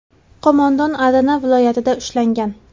Qo‘mondon Adana viloyatida ushlangan.